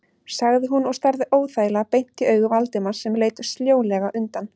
sagði hún og starði óþægilega beint í augu Valdimars sem leit sljólega undan.